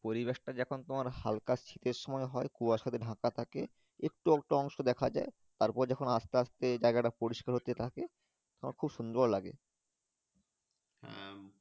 পরিবেশটা যখন হালকা শীতের সময় হয় কুয়াশাতে ঢাকা থাকে একটু আধটু অংশ দেখা যাই তার পরে আস্তে আস্তে জায়গা তা পরিষ্কার হতে থাকে তখন খুব সুন্দর লাগে হ্যাঁ।